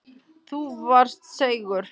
Þú varst seigur.